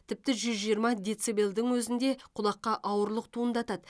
тіпті жүз жиырма децибелдің өзінде құлаққа ауырлық туындатады